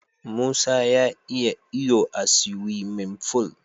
Musa ya iya iyo a siwimin ful.